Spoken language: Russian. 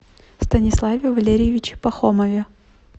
станиславе валерьевиче пахомове